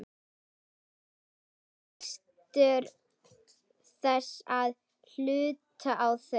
Hún nýtur þess að hlusta á þau.